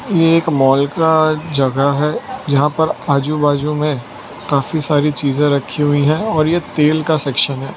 ये एक मॉल का जगह है जहां पर आजूबाजू में काफी सारी चीजे रखी हुई है और ये तेल का सेक्शन है।